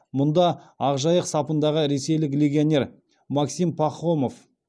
мұнда ақжайық сапындағы ресейлік легионер максим пахомов